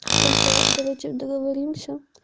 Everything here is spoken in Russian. только давайте договоримся